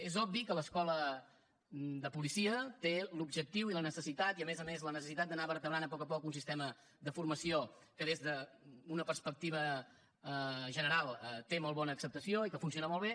és obvi que l’escola de policia té l’objectiu i la necessitat i a més a més la necessitat d’anar vertebrant a poc a poc un sistema de formació que des d’una perspectiva general té molt bona acceptació i que funciona molt bé